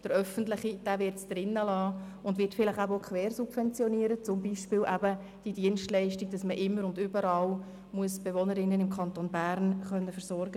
Der öffentliche Anbieter hingegen wird sie im System belassen und vielleicht auch etwas quersubventionieren, zum Beispiel die Pflicht zur Versorgung der Bewohnerinnen und Bewohner des gesamten Kantons Bern mit SpitexLeistungen.